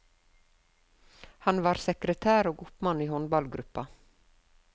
Han var sekretær og oppmann i håndballgruppa.